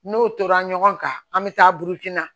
N'o tora ɲɔgɔn kan an bɛ taa burukina